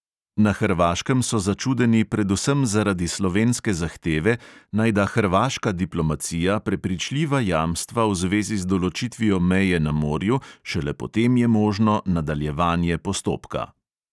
Na hrvaškem so začudeni predvsem zaradi slovenske zahteve, naj da hrvaška diplomacija prepričljiva jamstva v zvezi z določitvijo meje na morju, šele potem je možno nadaljevanje postopka.